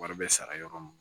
Wari bɛ sara yɔrɔ mun na